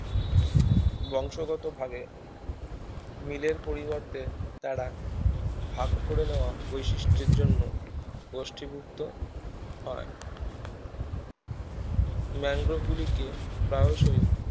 বংশগতভাবে মিলের পরিবর্তে তারা ভাগ করে নেওয়া বৈশিষ্ঠের জন্য গোষ্ঠীভুক্ত হয় ম্যাংগ্রোভগুলিকে প্রায়শই